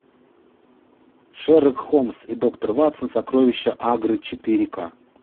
шерлок холмс и доктор ватсон сокровища агры четыре к